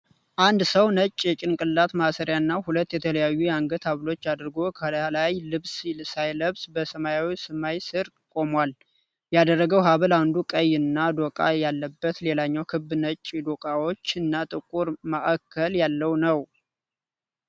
አንድ ሰው ነጭ የጭንቅላት ማሰሪያ እና ሁለት የተለያዩ የአንገት ሀብሎች አድርጎ ከላይ ልብስ ሳይለብስ በሰማያዊ ሰማይ ስር ቆሞል። ያደረገው ሃብል አንዱ ቀይ እና ዶቃ ያለበት ሌላኛው ክብ ነጭ ዶቃዎች እና ጥቁር ማእከል ያለው ነው።